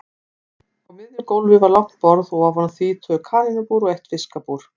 Á miðju gólfi var langt borð og ofan á því tvö kanínubúr og eitt fiskabúr.